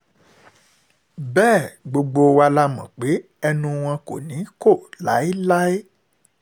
bẹ́ẹ̀ gbogbo wa la mọ̀ pé ẹnu wọn kò ní í kọ́ láéláé